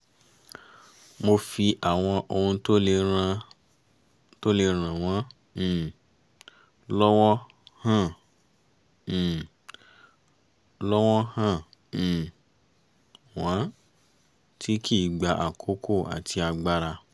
mo fi àwọn ohun tó le ràn wọ́n um lọ́wọ́ hàn um lọ́wọ́ hàn um wọ́n tí kì í gba àkókò àti agbára